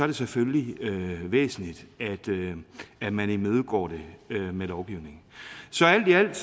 det selvfølgelig væsentligt at man imødegår det med lovgivning så alt i alt